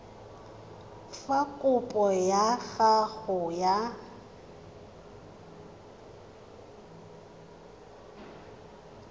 fa kopo ya gago ya